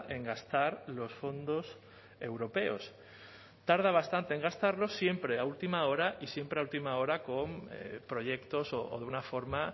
en gastar los fondos europeos tarda bastante en gastarlos siempre a última hora y siempre a última hora con proyectos o de una forma